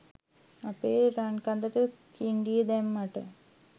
අපේ රන්කඳට කින්ඩිය දැම්මට.